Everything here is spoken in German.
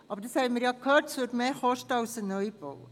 – Aber wie wir gehört haben, würde das mehr kosten als ein Neubau.